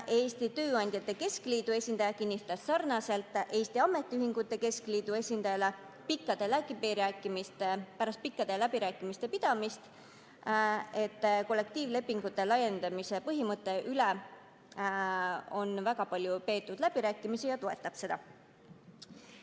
Eesti Tööandjate Keskliidu esindaja kinnitas sarnaselt Eesti Ametiühingute Keskliidu esindajaga, et kollektiivlepingute laiendamise põhimõtte üle on väga palju läbirääkimisi peetud ja ta toetab seda.